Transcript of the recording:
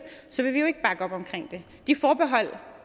vil de forbehold